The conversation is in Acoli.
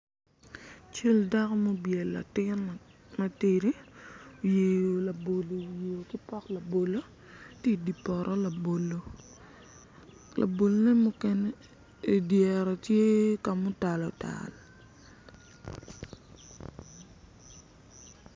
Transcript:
Cal dako ma obyelo latin matidi oyeyo labolo iwiye ki pot bolo tye idi poto labolo labolone mukene ki idyere tye ka mutal otal.